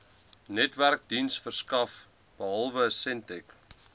netwerkdiensverskaffers behalwe sentech